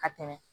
Ka tɛmɛ